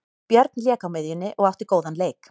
Björn lék á miðjunni og átti góðan leik.